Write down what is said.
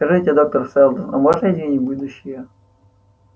скажите доктор сэлдон а можно изменить будущее